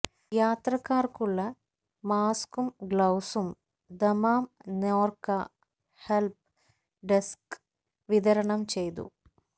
യാത്രക്കാര്ക്കുള്ള മാസ്കും ഗ്ലൌസും Dammam Norka help desk വിതരണം ചെയ്തു